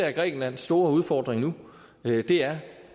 er grækenlands store udfordring nu er